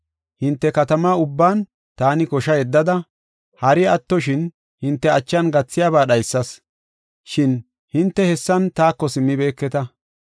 “Hinte katama ubban taani kosha yeddada, hari attoshin hinte achan gathiyaba dhaysas; shin hinte hessan taako simmibeketa.